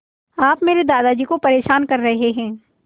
आप मेरे दादाजी को परेशान कर रहे हैं